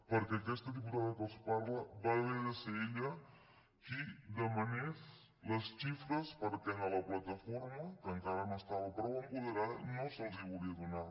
perquè aquesta diputada que els parla va haver de ser ella qui demanés les xi·fres perquè a la plataforma que encara no estava prou apoderada no se’ls hi volia donar